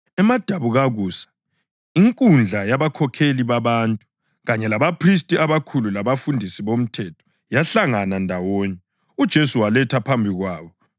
Emadabukakusa inkundla yabakhokheli babantu, kanye labaphristi abakhulu labafundisi bomthetho yahlangana ndawonye, uJesu walethwa phambi kwabo.